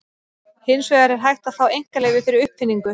Hins vegar er hægt að fá einkaleyfi fyrir uppfinningu.